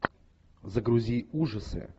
загрузи ужасы